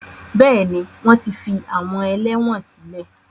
Bẹ́ẹ̀ni, wọ́n ti fi àwọn ẹlẹ́wọn sílẹ̀.